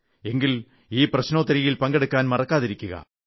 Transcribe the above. എങ്കിൽ ഈ പ്രശ്നോത്തരിയിൽ പങ്കെടുക്കാൻ മറക്കാതിരിക്കുക